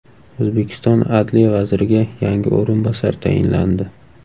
O‘zbekiston adliya vaziriga yangi o‘rinbosarlar tayinlandi.